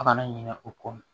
A kana ɲinɛ o kɔ